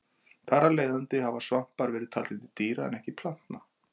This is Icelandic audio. Þar af leiðandi hafa svampar verið taldir til dýra en ekki plantna.